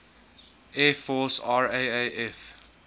air force raaf